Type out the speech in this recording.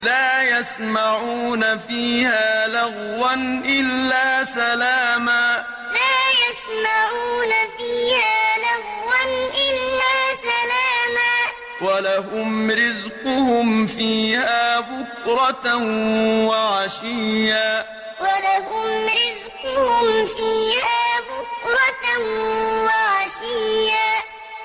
لَّا يَسْمَعُونَ فِيهَا لَغْوًا إِلَّا سَلَامًا ۖ وَلَهُمْ رِزْقُهُمْ فِيهَا بُكْرَةً وَعَشِيًّا لَّا يَسْمَعُونَ فِيهَا لَغْوًا إِلَّا سَلَامًا ۖ وَلَهُمْ رِزْقُهُمْ فِيهَا بُكْرَةً وَعَشِيًّا